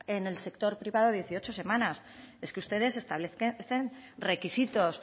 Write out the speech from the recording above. en el sector privado dieciocho semanas es que ustedes establecen requisitos